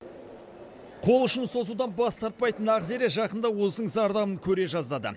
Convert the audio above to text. қол ұшын созудан бас тартпайтын ақзере жақында осының зардабын көре жаздады